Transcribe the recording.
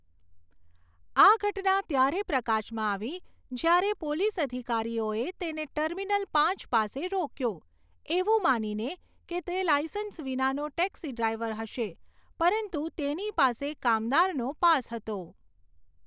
આ ઘટના ત્યારે પ્રકાશમાં આવી જ્યારે પોલીસ અધિકારીઓએ તેને ટર્મિનલ પાંચ પાસે રોક્યો, એવું માનીને કે તે લાઇસન્સ વિનાનો ટેક્સી ડ્રાઈવર હશે, પરંતુ તેની પાસે કામદારનો પાસ હતો.